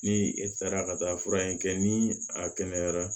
Ni e taara ka taa fura in kɛ ni a kɛnɛyara